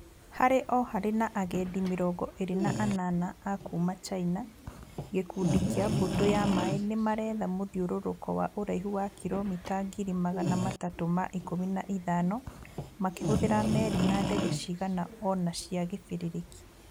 Harĩ o harĩ na agendi mĩrongo ĩrĩ na anana a kuma China. Gĩkundi kĩa mbũtũ ya maĩ nĩmaretha mũthĩũrũrũko wa ũraihu wa kilomita ngiri magana matatũ ma ikũmi na ithano makĩhuthira meri na ndege cigana ona cia gĩbĩrĩrĩki